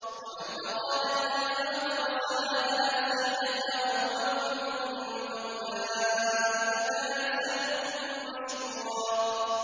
وَمَنْ أَرَادَ الْآخِرَةَ وَسَعَىٰ لَهَا سَعْيَهَا وَهُوَ مُؤْمِنٌ فَأُولَٰئِكَ كَانَ سَعْيُهُم مَّشْكُورًا